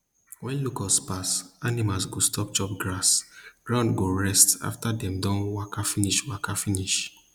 wen locusts pass animals go stop chop grass ground go rest afta dem don waka finish waka finish